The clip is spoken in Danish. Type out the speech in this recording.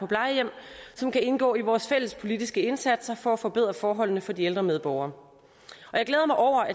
plejehjem som kan indgå i vores fælles politiske indsatser for at forbedre forholdene for de ældre medborgere